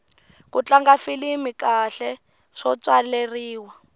ku tlanga filimi kahle swo tswaleriwa